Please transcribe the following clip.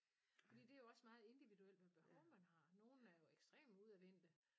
Fordi det er jo også meget individuelt hvad behov man har nogle er jo ekstremt udadvendte